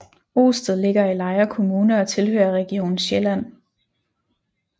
Osted ligger i Lejre Kommune og tilhører Region Sjælland